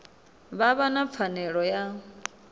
vha vha na pfanelo ya